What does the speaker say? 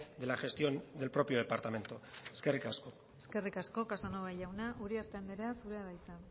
de la gestión del propio departamento eskerrik asko eskerrik asko casanova jauna uriarte andrea zurea da hitza